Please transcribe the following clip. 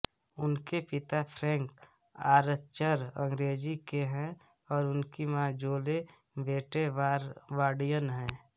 उनके पिता Frank Archer अंग्रेजी के हैं और उनकी माँ जोले वेटे बारबाडियन हैं